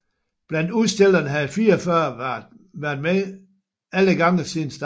Blandt udstillerne havde 44 været med alle gange siden starten